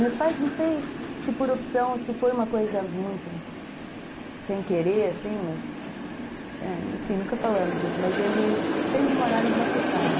Meus pais, não sei se por opção ou se foi uma coisa muito sem querer, assim, mas, enfim, nunca falamos disso, mas eles sempre moraram em rua fechada.